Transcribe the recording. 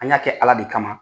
An ka kɛ Ala de kama.